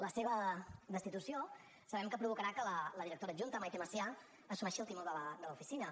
la seva destitució sabem que provocarà que la directora adjunta maite masià assumeixi el timó de l’oficina